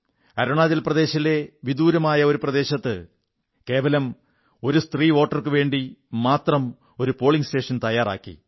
അരുണാചൽ പ്രദേശിലെ ഒരു വിദൂരസ്ഥ പ്രദേശത്ത് കേവലം ഒരു സ്ത്രീ വോട്ടർക്കുവേണ്ടി മാത്രം പോളിംഗ് സ്റ്റേഷൻ തയ്യാറാക്കി